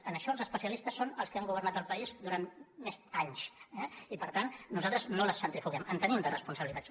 en això els especialistes són els que han governat el país durant més anys eh i per tant nosaltres no les centrifuguem en tenim de responsabilitats